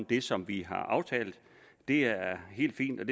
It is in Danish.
det som vi har aftalt og det er helt fint